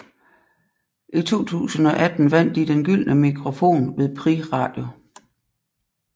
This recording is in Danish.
I 2018 vandt de Den Gyldne Mikrofon ved Prix Radio